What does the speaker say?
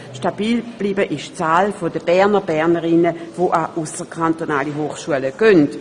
Stabil geblieben ist die Zahl der Bernerinnen und Berner, welche ausserkantonale Hochschulen besuchen.